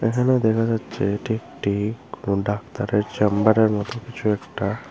এখানে দেখা যাচ্ছে এটি একটি কোনো ডাক্তারের চেম্বারের মত কিছু একটা।